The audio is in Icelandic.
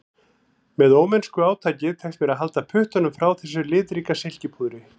Með ómennsku átaki tekst mér að halda puttunum frá þessu litríka silkipúðri